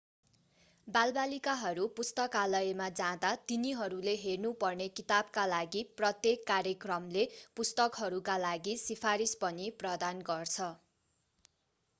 बालबालिकाहरू पुस्तकालयमा जाँदा तिनीहरूले हेर्नु पर्ने किताबका लागि प्रत्येक कार्यक्रमले पुस्तकहरूका लागि सिफारिस पनि प्रदान गर्छ